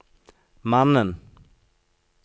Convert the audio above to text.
mannen